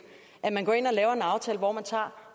at man går ind og laver en aftale hvor man tager